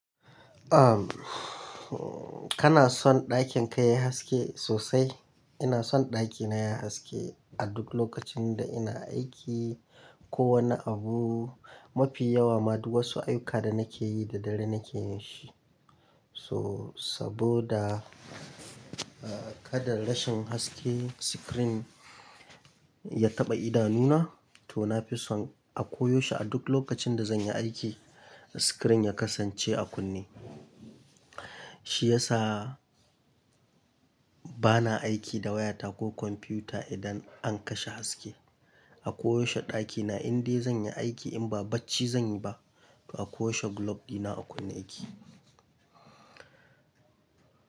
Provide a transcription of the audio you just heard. Uhm, kana son ɗakin ka yayi haske sosai? Ina son ɗakina yayi haske a duk lokacin da ina aiki ko wani abu. Mafi yawa ma duk wasu ayyuka da nake yi da dare nake shi. So, saboda, ah, kada rashin haske screen ya taɓa idanuna to na fi son a ko yaushe a duk lokacin da zan yi aiki screen ya kasance a kunne. Shi yasa bana aiki da wayata ko kwamfuta idan an kashe haske. A ko yaushe ɗakina indai zan yi aiki in ba bacci zan yi ba, to a ko yaushe glop dina a kunne yake.